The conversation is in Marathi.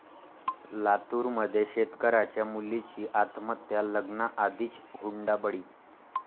लातूरमध्ये शेतकऱ्याच्या मुलीची आत्महत्या, लग्नाआधीच हुंडाबळी